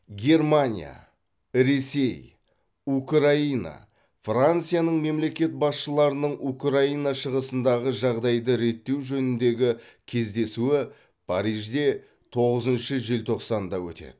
германия ресей украина францияның мемлекет басшыларының украина шығысындағы жағдайды реттеу жөніндегі кездесуі парижде тоғызыншы желтоқсанда өтеді